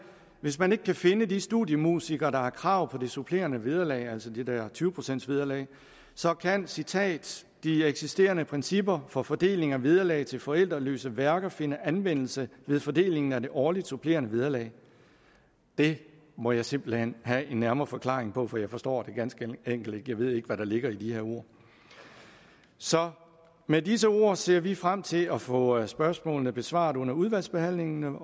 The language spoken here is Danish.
hvis man ikke kan finde de studiemusikere der har krav på det supplerende vederlag altså det der tyve procents vederlag så kan citat de eksisterende principper for fordeling af vederlag til forældreløse værker finde anvendelse ved fordelingen af det årligt supplerende vederlag det må jeg simpelt hen have en nærmere forklaring på for jeg forstår det ganske enkelt ikke jeg ved ikke hvad der ligger i de her ord så med disse ord ser vi frem til at få spørgsmålene besvaret under udvalgsbehandlingen